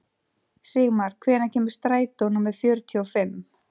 Sigmar, hvenær kemur strætó númer fjörutíu og fimm?